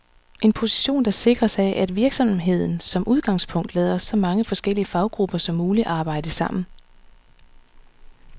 En position, der sikres af, at virksomheden som udgangspunkt lader så mange forskellige faggrupper som muligt arbejde sammen.